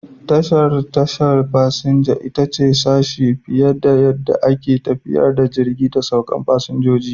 Tashar tashar fasinja ita ce sashe fiye da yadda ake tafiyar da jirgi da sauke fasinjoji.